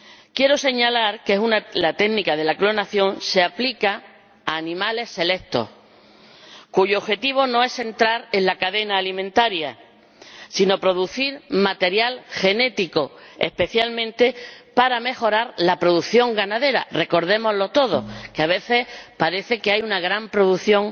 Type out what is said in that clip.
Quiero señalar que la técnica de la clonación se aplica a animales selectos y que su objetivo no es entrar en la cadena alimentaria, sino producir material genético, especialmente para mejorar la producción ganadera —recordémoslo todos, ya que a veces parece que hay una gran producción